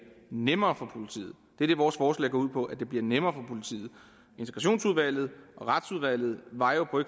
nemmere for politiet det er det vores forslag går ud på altså at det bliver nemmere for politiet integrationsudvalget og retsudvalget var jo for